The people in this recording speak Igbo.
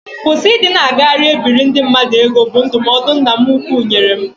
Kwụsị ịdị na-agagharị e biri ndị mmadụ ego, bụ ndụmọdụ nna m ukwu nyere m